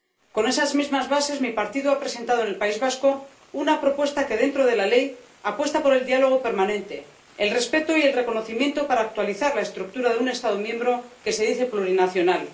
Con esas mismas bases, mi partido ha presentado en el País Vasco una propuesta que, dentro de la ley, apuesta por el diálogo permanente, el respeto y el reconocimiento para actualizar la estructura de un Estado miembro que se dice plurinacional.